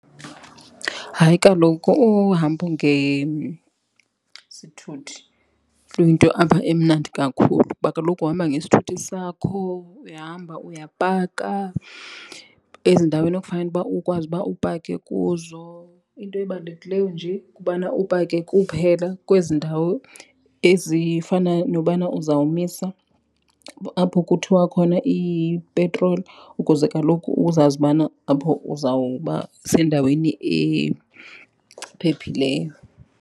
Hayi kaloku uhambo ngesithuthi luyinto apha emnandi kakhulu kuba kaloku uhamba ngesithuthi sakho uyahamba uyapaka ezindaweni ekufanele uba ukwazi uba upake kuzo. Into ebalulekileyo nje kubana upake kuphela kwezi ndawo ezifana nobana uzawumisa apho kuthiwa khona ipetroli ukuze kaloku uzazi ubana apho uzawuba sendaweni ephephileyo.